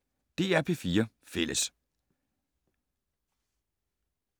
DR P4 Fælles